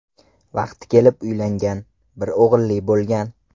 Vaqti kelib uylangan, bir o‘g‘illi bo‘lgan.